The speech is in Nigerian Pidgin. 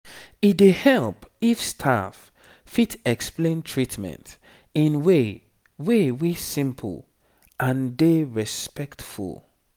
e dey help if staff fit explain treatment in way way wey simple and dey respectful